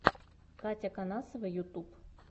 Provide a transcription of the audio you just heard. катяконасова ютуб